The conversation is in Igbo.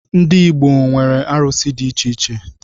Ndi Igbo nwere arụsi ̣ di icheiche